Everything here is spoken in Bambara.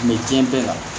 N bɛ diɲɛ bɛɛ la